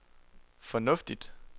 fornuftigt